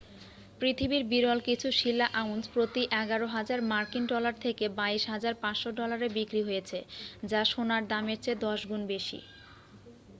পৃথিবীর বিরল কিছু শিলা আউন্স প্রতি 11,000 মার্কিন ডলার থেকে 22,500 ডলারে বিক্রি হয়েছে যা সোনার দামের চেয়ে 10 গুণ বেশি।